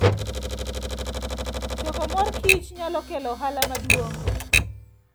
Choko mor kich nyalo kelo ohala maduong'.